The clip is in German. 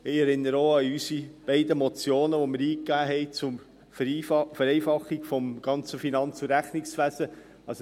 Ich erinnere auch an unsere beiden Motionen die wir eingegeben haben, zur Vereinfachung des ganzen Finanz- und Rechnungswesens.